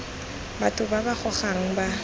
batho ba ba gogang ba